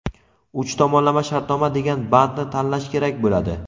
uch tomonlama shartnoma degan bandni tanlash kerak bo‘ladi.